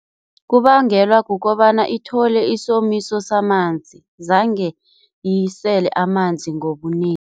Kubangelwa kukobana ithole isomiso samanzi, zange isele amanzi ngobunengi.